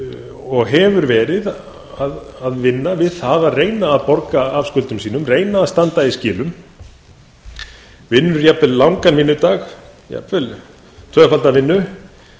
og hefur verið að vinna við það að reyna að borga af skuldum sínum reyna að standa í skilum vinnur jafnvel langan vinnudag jafnvel tvöfalda vinnu